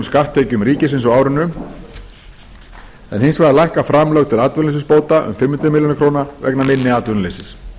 skatttekjum ríkisins á árinu en hins vegar lækka framlög til atvinnuleysisbóta um fimm hundruð milljóna króna vegna minna